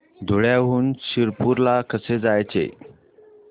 धुळ्याहून शिरपूर ला कसे जायचे